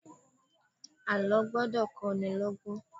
Àlọ́ gbọ́dọ̀ kó ní lọ́gbọ́n